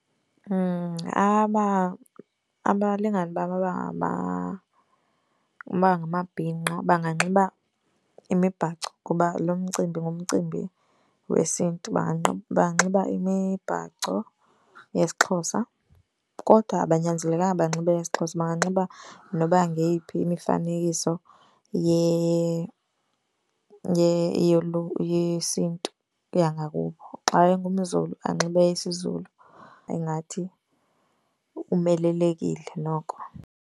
Abalingani bam abangamabhinqa banganxiba imibhaco. Ngoba lo mcimbi ngumcimbi wesiNtu, banganxiba imibhaco yesiXhosa. Kodwa abanyanzelekanga banxibe eyesiXhosa, banganxiba noba ngeyiphi imifanekiso yesiNtu yangakubo. Xa engumZulu, anxibe eyesiZulu, ingathi umelelekile noko.